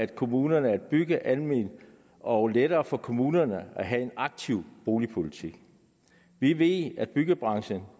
kommunerne at bygge alment og lettere for kommunerne at have en aktiv boligpolitik vi ved at byggebranchen